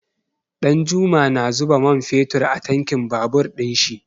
Ɗanjuma na zuba man fetur a tankin babur ɗin shi.